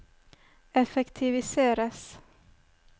effektiviseres